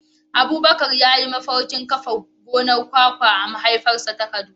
Abubakar ya yi mafarkin kafa gonar kwakwa a mahaifarsa ta Kaduna.